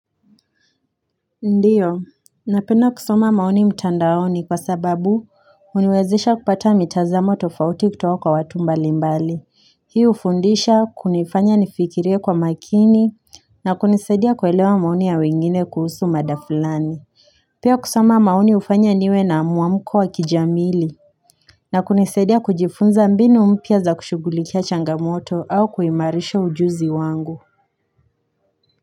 Ndiyo, napenda kusoma maoni mtandaoni kwa sababu uniwezesha kupata mitazamo tofauti kutoka kwa watu mbalimbali. Hii ufundisha, kunifanya nifikirie kwa makini, na kunisaidia kuelewa maoni ya wengine kuhusu mada fulani. Pia kusoma maoni ufanya niwe na muamuko wa kijamili, na kunisaidia kujifunza mbinu mpya za kushugulikia changamoto au kuimarisha ujuzi wangu.